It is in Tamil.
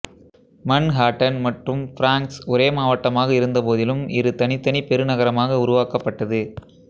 மன்ஹாட்டன் மற்றும் பிராங்க்ஸ் ஒரே மாவட்டமாக இருந்தபோதிலும் இரு தனித்தனி பெருநகரமாக உருவாக்கப்பட்டது